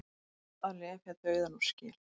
Að lepja dauðann úr skel